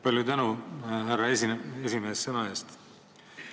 Palju tänu, härra esimees, sõna andmise eest!